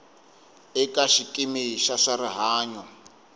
eka xikimi xa swa rihanyo